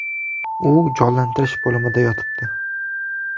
U jonlantirish bo‘limida yotibdi.